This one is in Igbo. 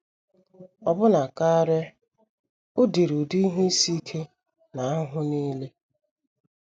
Ọbụna karị, o diri ụdị ihe isi ike na ahụhụ nile.